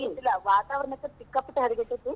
ಇದ್ದಿಲ್ಲಾ ವಾತಾವರ್ಣoತು ಸಿಕ್ಕಾಪಟ್ಟೆ ಹಾದ್ಗೆಟ್ಟೆತಿ.